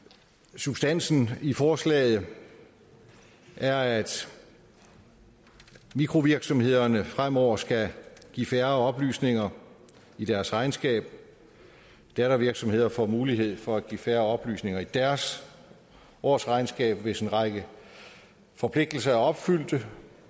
substansen i forslaget er at mikrovirksomhederne fremover skal give færre oplysninger i deres regnskab dattervirksomheder får mulighed for at give færre oplysninger i deres årsregnskab hvis en række forpligtelser er opfyldt der